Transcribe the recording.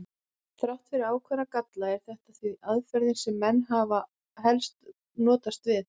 Þrátt fyrir ákveðna galla er þetta því aðferðin sem menn hafa helst notast við.